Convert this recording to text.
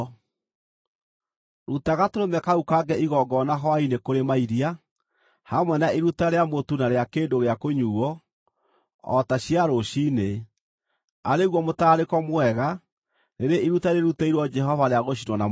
Ruta gatũrũme kau kangĩ igongona hwaĩ-inĩ kũrĩ mairia, hamwe na iruta rĩa mũtu na rĩa kĩndũ gĩa kũnyuuo o ta cia rũciinĩ, arĩ guo mũtararĩko mwega, rĩrĩ iruta rĩrutĩirwo Jehova rĩa gũcinwo na mwaki.